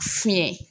Fiɲɛ